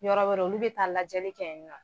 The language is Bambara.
Yɔrɔ wɛrɛ olu bɛ taa lajɛli kɛ yen nɔ.